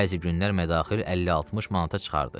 Bəzi günlər mədaxil 50-60 manata çıxardı.